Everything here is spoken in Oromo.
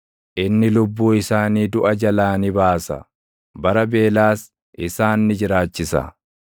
inni lubbuu isaanii duʼa jalaa ni baasa; bara beelaas isaan ni jiraachisa.